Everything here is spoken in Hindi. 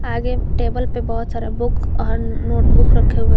आगे टेबल पे बहोत सारा बुक और नोटबुक रखे हुए हैं।